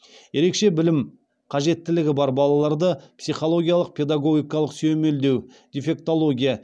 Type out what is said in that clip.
ерекше білім қажеттілігі бар балаларды психологиялық педагогикалық сүйемелдеу дефектология